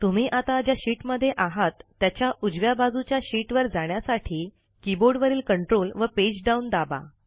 तुम्ही आता ज्या शीटमध्ये आहात त्याच्या उजव्या बाजूच्या शीटवर जाण्यासाठी कीबोर्डवरील Ctrl व पेजडाऊन दाबा